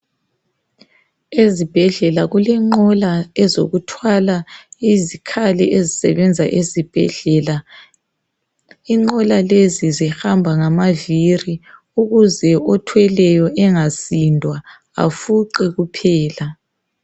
Ezibhedlela kulenqola ezokuthwala izikhali ezisebenza esibhedlela, inqola lezi zihamba ngamavili ukuze othweleyo angasindwa afuqe kuphela.